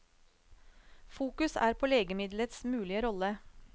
Fokus er på legemidlets mulige rolle.